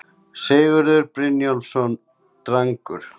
Sigurður Brynjólfsson Drangur